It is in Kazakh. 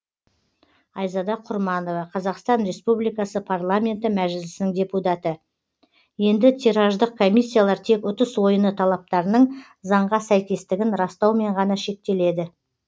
айзада құрманова қазақстан республикасы парламенті мәжілісінің депутаты енді тираждық комиссиялар тек ұтыс ойыны талаптарының заңға сәйкестігін растаумен ғана шектеледі